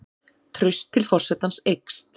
Traust til forsetans eykst